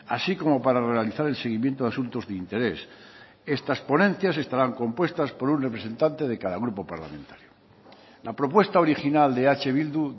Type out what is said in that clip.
así como para realizar el seguimiento de asuntos de interés estas ponencias estarán compuestas por un representante de cada grupo parlamentario la propuesta original de eh bildu